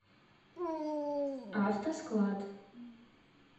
автосклад